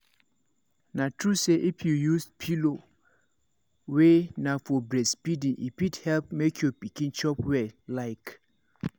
na true say if you use pillow wey na for breastfeeding e fit help make your pikin chop well like